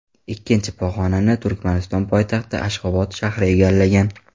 Ikkinchi pog‘onani Turkmaniston poytaxti Ashxobod shahri egallagan.